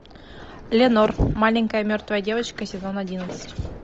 ленор маленькая мертвая девочка сезон одиннадцать